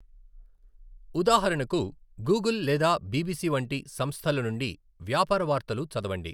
ఉదాహరణకు, గూగుల్ లేదా బిబిసి వంటి సంస్థల నుండి వ్యాపార వార్తలు చదవండి.